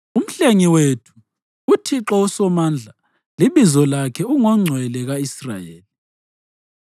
Umhlengi wethu uThixo uSomandla libizo lakhe ungoNgcwele ka-Israyeli.